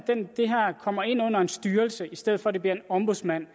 det her kommer ind under en styrelse i stedet for at det bliver en ombudsmand